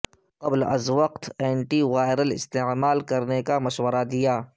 قبل از وقت اینٹی وائرل استعمال کرنے کا مشورہ دیا